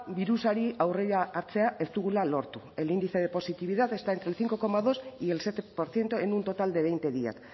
birusari aurrea hartzea ez dugula lortu el índice de positividad está entre el cinco coma dos y el siete por ciento en un total de veinte días